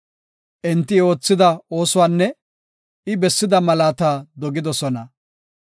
Enti I oothida oosuwanne I bessida malaata dogidosona.